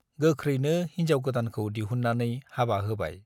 गोख्रैनो हिन्जाव गोदानखौ दिहुन्नानै हाबा होबाय।